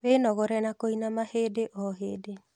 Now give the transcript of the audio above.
Wĩnogore na kũinama hĩndĩ o hĩndĩ